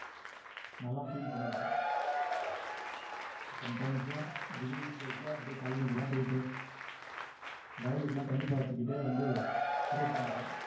நாலாம் அஹ் feel பண்ணிருக்கேன் sometimes ல்லாம் beginning stage ல அப்படியே கழனிக்கெல்லாம் போயிட்டு வயலுக்கு எல்லாம் தண்ணி பாய்ச்சிக்கிட்டே வந்து trade பண்ணுவேன்